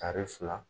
Tari fila